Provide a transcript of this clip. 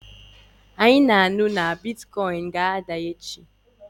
Anyị na-anụ na bịtịkọyịnị ga-ada echi